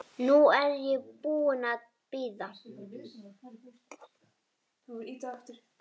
Nú er ég búin að bíða.